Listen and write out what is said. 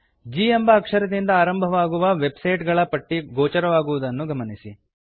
g ಎಂಬ ಅಕ್ಷರದಿಂದ ಆರಂಭವಾಗುವ ವೆಬ್ ಸೈಟ್ ಗಳ ಪಟ್ಟಿ ಗೋಚರವಾಗುವುದನ್ನು ಗಮನಿಸಿ